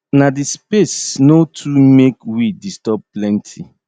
na di space no too make weed disturb plenty